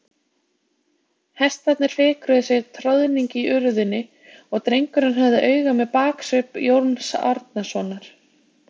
Hestarnir fikruðu sig troðning í urðinni og drengurinn hafði auga með baksvip Jóns Arasonar.